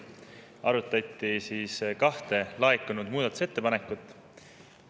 Arutati kahte laekunud muudatusettepanekut.